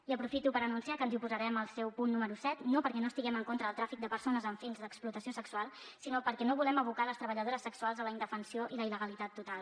i aprofito per anunciar que ens oposarem al seu punt número set no perquè no estiguem en contra del tràfic de persones amb fins d’explotació sexual sinó perquè no volem abocar les treballadores sexuals a la indefensió i la il·legalitat total